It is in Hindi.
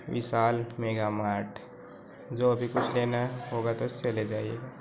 विशाल मेघा मार्ट जो भी कुछ लेना है होगा तो उससे ले जाइए--